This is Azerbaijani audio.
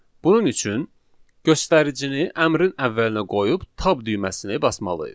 Bunun üçün göstəricini əmrin əvvəlinə qoyub tab düyməsini basmalıyıq.